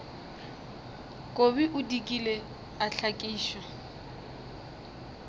kobi o dikile a hlakišwa